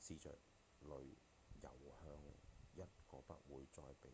試著遊向一個不會再被